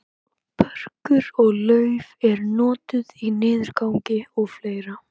börkur og lauf eru notuð við niðurgangi og fleira